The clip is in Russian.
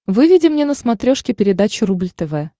выведи мне на смотрешке передачу рубль тв